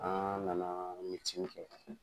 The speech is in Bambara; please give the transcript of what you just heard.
An nana kɛ.